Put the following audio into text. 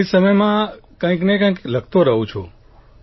ખાલી સમયમાં કંઇકને કંઇક લખતો રહું છું હું